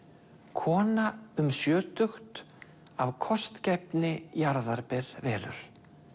kona um sjötugt af kostgæfni jarðarber velur